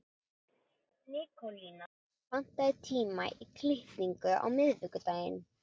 Nikólína, pantaðu tíma í klippingu á miðvikudaginn.